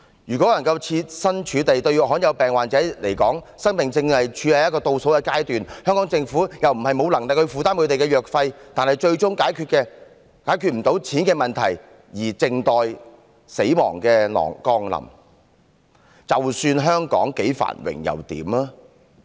如果設身處地一想，對罕有病患者而言，生命正處於倒數階段，香港政府又不是沒有能力負擔他們的藥費，但是，他們最終卻因為解決不了錢的問題而靜待死亡降臨，那香港再繁榮又如何？